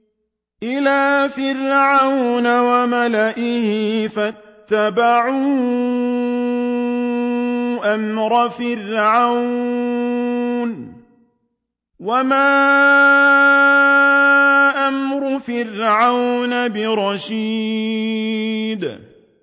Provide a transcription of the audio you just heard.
إِلَىٰ فِرْعَوْنَ وَمَلَئِهِ فَاتَّبَعُوا أَمْرَ فِرْعَوْنَ ۖ وَمَا أَمْرُ فِرْعَوْنَ بِرَشِيدٍ